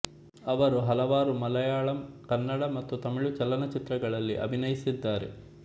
ಅವರು ಹಲವಾರು ಮಲಯಾಳಂ ಕನ್ನಡ ಮತ್ತು ತಮಿಳು ಚಲನಚಿತ್ರಗಳಲ್ಲಿ ಅಭಿನಯಿಸಿದ್ದಾರೆ